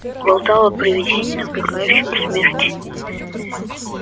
болтал о привидении накликающем смерть